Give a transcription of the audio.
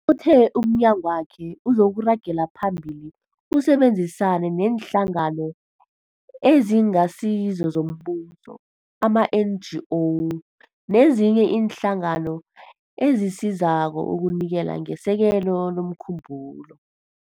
Uthe umnyagwakhe uzokuragela phambili usebenzisane neeNhlangano eziNgasizo zoMbuso ama-NGO nezinye iinhlangano ezisizako ukunikela ngesekelo lomkhumbulo.